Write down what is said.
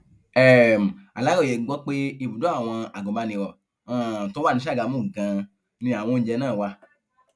um aláròye gbọ pé ibùdó àwọn agùnbàniro um tó wà ní sàgámù ganan ni àwọn oúnjẹ náà wà